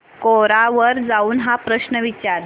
कोरा वर जाऊन हा प्रश्न विचार